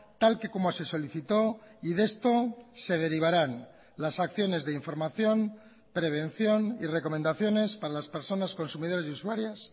tal que como se solicitó y de esto se derivarán las acciones de información prevención y recomendaciones para las personas consumidores y usuarias